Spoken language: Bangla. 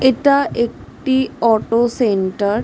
এটা একটি অটো সেন্টার ।